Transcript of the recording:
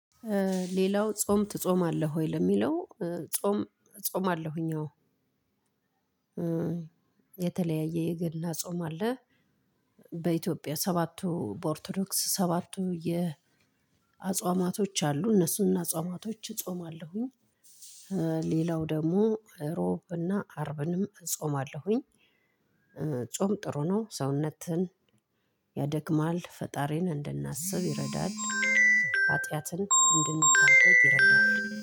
ሌላው ጾም ትጾማለህ ወይ? ለሚለው፣ ጾም እጾማለሁኝ፣ አዎ። የተለያየ፣ የገና ጾም አለ፤ በኢትዮጵያ፣ በኦርቶዶክስ ሰባቱ አጽዋማት አሉ፣ እነሱንም አጽዋማት እጾማለሁኝ፤ ሌላው ደግሞ እሮብና አርብንም እጾማለሁኝ። ጾም ጥሩ ነው፣ ሰውነትን ያደክማል፤ ፈጣሪን እንድናስብ ይረዳል፣ ኃጢአትን እንድንታገድ ይረዳል።